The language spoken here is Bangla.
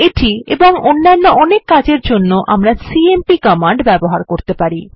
এটি এবং অন্যান্য অনেক কাজের জন্য আমরা সিএমপি কমান্ড ব্যবহার করতে পারি